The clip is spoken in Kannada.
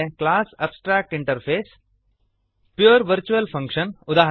class abstract interface pure virtual function ಉದಾ